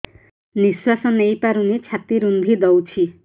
ନିଶ୍ୱାସ ନେଇପାରୁନି ଛାତି ରୁନ୍ଧି ଦଉଛି